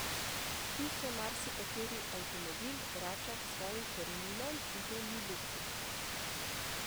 Tu se marsikateri avtomobil vrača k svojim koreninam in to ni luksuz.